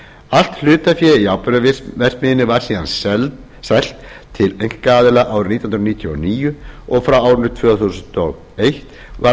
allt hlutafé í áburðarverksmiðjunni var síðan selt til einkaaðila árið nítján hundruð níutíu og níu og frá árinu tvö þúsund og eitt var